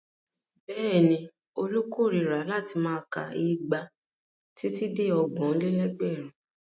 Bẹ́ẹ̀ni, Olú korira láti máa ka igba títí dé ọgbọ̀n-lé-lẹ́gbẹ̀rún.